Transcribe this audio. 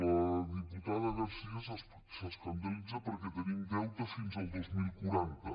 la diputada garcía s’escandalitza perquè tenim deute fins al dos mil quaranta